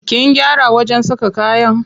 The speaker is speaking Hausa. Kin gyara wajen saka kayan?